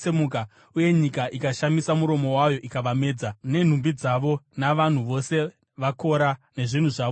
uye nyika ikashamisa muromo wayo ikavamedza, nenhumbi dzavo navanhu vose vaKora nezvinhu zvavo zvose.